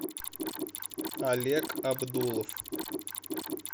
олег абдулов